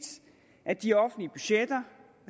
at de offentlige budgetter